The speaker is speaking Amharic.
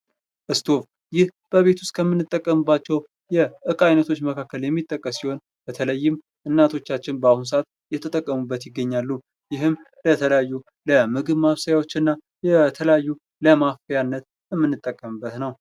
እስቶብ ይህ በቤት ውስጥ ከምንጠቀምባቸው የእቃ አይነቶች መካከል የሚጠቀስ ሲሆን በተለይም እናቶቻችን በአሁኑ ሰዓት እየተጠቀሙበት ይገኛሉ። ይህም በተለያዩ የምግብ ማብሰያዎች እና ለተለያዩ ለማፍያነት የምንጠቀምበት ነው።